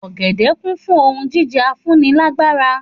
Ògèdè kún fún ohun jíjẹ afúnilágbára